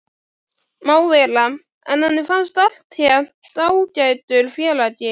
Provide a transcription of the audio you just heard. Má vera, en henni fannst hann allténd ágætur félagi.